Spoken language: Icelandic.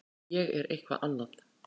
Ég er eitthvað annað.